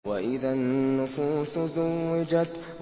وَإِذَا النُّفُوسُ زُوِّجَتْ